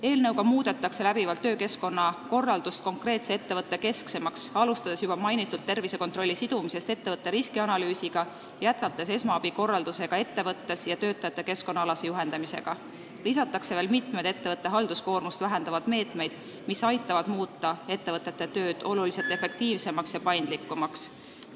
Eelnõu eesmärk on muuta töökeskkonna korraldus konkreetse ettevõtte kesksemaks, alustades juba mainitud tervisekontrolli sidumisest ettevõtte riskianalüüsiga, jätkates esmaabi korraldusega ettevõttes ja töötajate keskkonnaalase juhendamisega, lisatakse veel mitmed ettevõtte halduskoormust vähendavad meetmed, mis aitavad muuta ettevõtete töö märksa efektiivsemaks ja paindlikumaks.